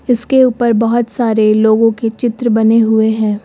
इसके ऊपर बहोत सारे लोगों के चित्र बने हुए हैं।